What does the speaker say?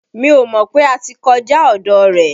Mí ò mọ̀ pé a ti kọjá ọ̀dọ̀ rẹ̀.